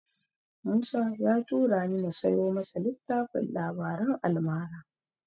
Musa ya turani na siyo masa littafin labaran almara.